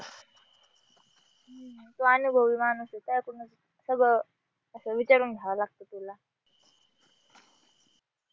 तू अनुभवी माणूस आहे तुझ्याकडून सगळं असा विचारून घ्यावं लागत तुला.